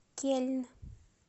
кельн